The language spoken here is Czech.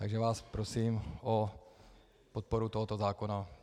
Takže vás prosím o podporu tohoto zákona.